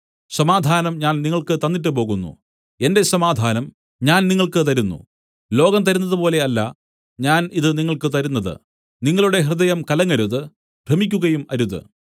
സമാധാനം ഞാൻ നിങ്ങൾക്ക് തന്നിട്ടുപോകുന്നു എന്റെ സമാധാനം ഞാൻ നിങ്ങൾക്ക് തരുന്നു ലോകം തരുന്നതുപോലെ അല്ല ഞാൻ ഇത് നിങ്ങൾക്ക് തരുന്നത് നിങ്ങളുടെ ഹൃദയം കലങ്ങരുത് ഭ്രമിക്കുകയും അരുത്